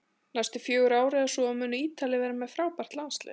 Næstu fjögur ár eða svo munu Ítalir vera með frábært landslið